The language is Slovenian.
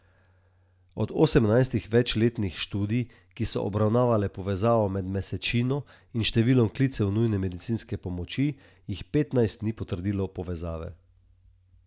Od osemnajstih večletnih študij, ki so obravnavale povezavo med mesečino in številom klicev nujne medicinske pomoči, jih petnajst ni potrdilo te povezave.